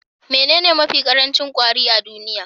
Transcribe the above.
Menene mafi ƙarancin kwari a duniya?